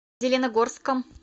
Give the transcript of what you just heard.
зеленогорском